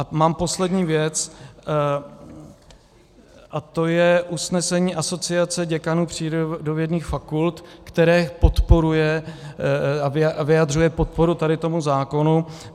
A mám poslední věc a to je usnesení Asociace děkanů přírodovědných fakult, které podporuje a vyjadřuje podporu tady tomu zákonu.